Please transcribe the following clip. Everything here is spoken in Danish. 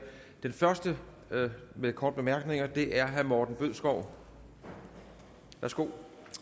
den første med korte bemærkninger er herre morten bødskov værsgo